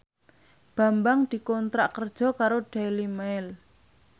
Bambang dikontrak kerja karo Daily Mail